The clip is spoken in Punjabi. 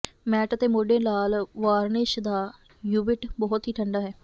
ਮੈਟ ਅਤੇ ਮੋਢੇ ਲਾਲ ਵਾਰਨਿਸ਼ ਦਾ ਯੁਵੀਟ ਬਹੁਤ ਹੀ ਠੰਡਾ ਹੈ